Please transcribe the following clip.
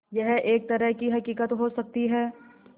यह एक तरह की हक़ीक़त हो सकती है